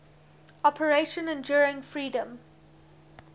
operation enduring freedom